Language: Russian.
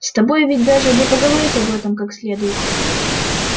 с тобой ведь даже не поговорить об этом как следует